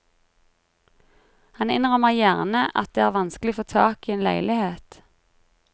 Han innrømmer gjerne at det er vanskelig å få tak i en leilighet.